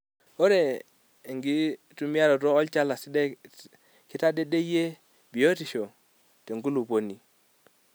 Ore enkitumiaroto olchala sidai keitadedeyie biotisho tenkulupuoni.